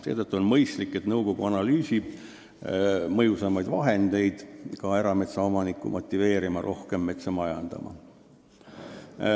Seetõttu oleks nõukogul mõistlik analüüsida, mis on mõjusamad vahendid, et ka erametsaomanikud oleks motiveeritud rohkem metsa majandama.